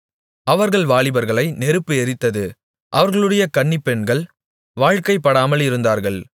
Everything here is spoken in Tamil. அவர்கள் வாலிபர்களை நெருப்பு எரித்தது அவர்களுடைய கன்னிப்பெண்கள் வாழ்க்கைப்படாமலிருந்தார்கள்